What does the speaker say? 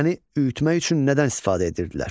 Dəni üyütmək üçün nədən istifadə edirdilər?